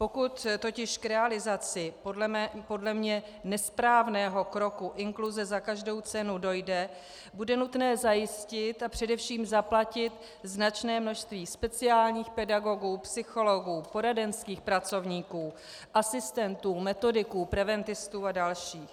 Pokud totiž k realizaci podle mne nesprávného kroku inkluze za každou cenu dojde, bude nutné zajistit a především zaplatit značné množství speciálních pedagogů, psychologů, poradenských pracovníků, asistentů, metodiků, preventistů a dalších.